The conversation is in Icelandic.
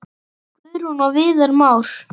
Guðrún og Viðar Már.